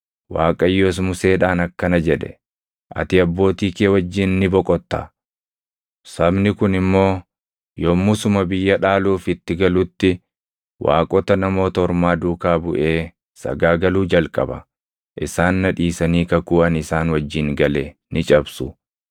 Waaqayyos Museedhaan akkana jedhe; “Ati abbootii kee wajjin ni boqotta; sabni kun immoo yommuu suma biyya dhaaluuf itti galutti waaqota Namoota Ormaa duukaa buʼee sagaagaluu jalqaba. Isaan na dhiisanii kakuu ani isaan wajjin gale ni cabsu.